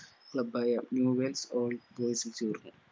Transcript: club ആയ